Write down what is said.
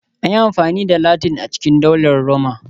An yi amfani da Latin a cikin Daular Roma